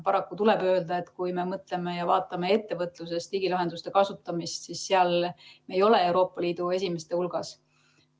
Paraku tuleb öelda, et kui me vaatame ettevõtluses digilahenduste kasutamist, siis seal me ei ole Euroopa Liidu esimeste hulgas.